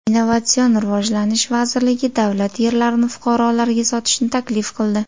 Innovatsion rivojlanish vazirligi davlat yerlarini fuqarolarga sotishni taklif qildi.